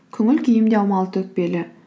көңіл күйім де аумалы төкпелі